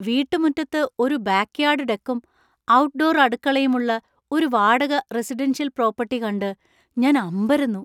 വീട്ടുമുറ്റത്ത് ഒരു back yard ഡെക്കും ,ഔട്ട്ഡോർ അടുക്കളയും ഉള്ള ഒരു വാടക റെസിഡൻഷ്യൽ പ്രോപ്പർട്ടി കണ്ട് ഞാന്‍ അമ്പരന്നു.